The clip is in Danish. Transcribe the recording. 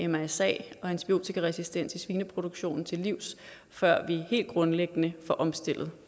mrsa og antibiotikaresistens i svineproduktionen til livs før vi helt grundlæggende får omstillet